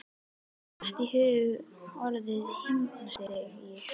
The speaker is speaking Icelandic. Mér datt í hug orðið himnastigi.